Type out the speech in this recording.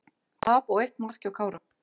Tap og eitt mark hjá Kára